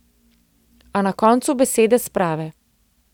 A na koncu besede sprave.